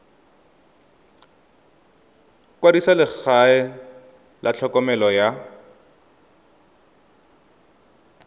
kwadisa legae la tlhokomelo ya